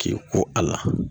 K'i ko a la